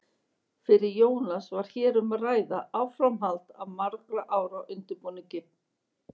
Fyrir Jónas var hér um að ræða áframhald af margra ára undirbúningi.